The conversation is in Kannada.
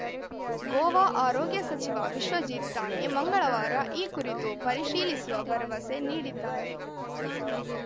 ಗೋವಾ ಆರೋಗ್ಯ ಸಚಿವ ವಿಶ್ವಜಿತ್‌ ಠಾಣೆ ಮಂಗಳವಾರ ಈ ಕುರಿತು ಪರಿಶೀಲಿಸುವ ಭರವಸೆ ನೀಡಿದ್ದಾರೆ